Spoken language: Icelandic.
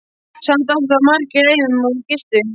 Samt áttu þar margir leið um og gistu.